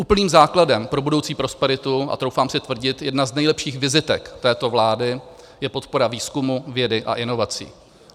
Úplným základem pro budoucí prosperitu, a troufám si tvrdit jedna z nejlepších vizitek této vlády je podpora výzkumu, vědy a inovací.